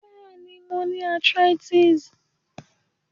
Béèni, mo ni arthritis